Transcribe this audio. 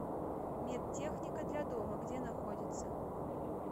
медтехника для дома где находится